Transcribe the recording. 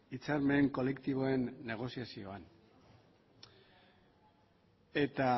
hitzarmen kolektiboen negoziazioan eta